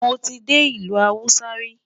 mọ tí dé ilé Hausa ri